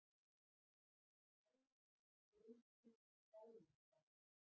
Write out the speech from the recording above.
Áætlaðar greiðslur skáletraðar.